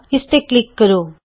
ਇਸ ਤੇ ਕਲਿਕ ਕਰੋ